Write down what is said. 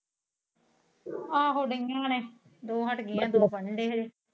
ਆਹੋ ਡਿਇਆ ਨੇ ਦੋ ਹੱਟ ਗਾਇਆ ਦੋ ਪੜ੍ਹਣ ਡੀਈਆਂ ਨੇ ਹਜੇ।